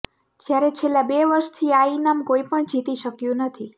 જયારે છેલ્લા બે વર્ષથી આ ઇનામ કોઈપણ જીતી શક્યું નથી